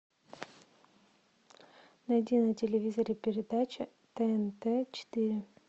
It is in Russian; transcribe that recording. найди на телевизоре передача тнт четыре